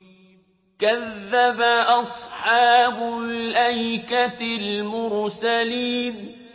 كَذَّبَ أَصْحَابُ الْأَيْكَةِ الْمُرْسَلِينَ